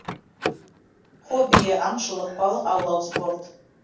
хоббиі аңшылық балық аулау спорт